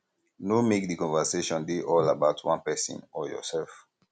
no make di conversation dey all about one person or yourself